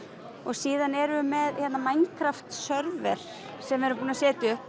síðan erum við með hérna Minecraft server sem við erum búin að setja upp